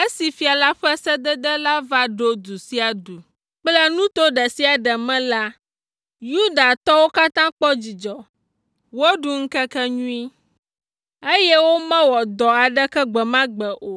Esi fia la ƒe sedede la va ɖo du sia du kple nuto ɖe sia ɖe me la, Yudatɔwo katã kpɔ dzidzɔ, woɖu ŋkekenyui, eye womewɔ dɔ aɖeke gbe ma gbe o.